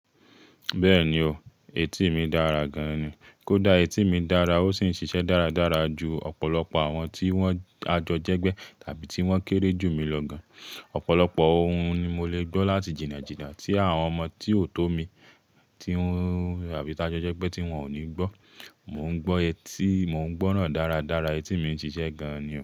Bẹ́ẹ̀ni o, etí mi dára gan-an ni. Kódà etí mi dára ó sì ń ṣiṣẹ́ dáradára ju ọ̀pọ̀lọpọ̀ àwọn tí wọ́n ajọjẹgbẹ́ tàbí tí wọ́n kéré jù mí lọ gan. Ọ̀pọ̀lọpọ̀ ohun ni mo lè gbọ́ láti jìnnàjìnnà tí àwọn ọmọ tí ò tó mi tabí tájọjẹgbẹ́ tí wọ́n ò ní gbọ́. Mò ń gbọ́ etí, mò ń gbọ́ràn dáradára, etí mi ń ṣiṣẹ́ gan-an ni o.